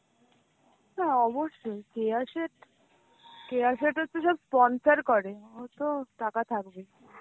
হ্যাঁ অবশ্যই. কেয়া শেঠ কেয়া শেঠ হচ্ছে সব sponsor করে ও তো টাকা থাকবে.